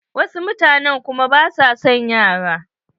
Wasu mutane kuma ba sua son yara.